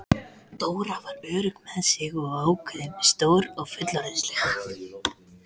Dóra var örugg með sig og ákveðin, stór og fullorðinsleg.